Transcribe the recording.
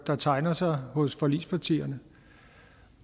der tegner sig hos forligspartierne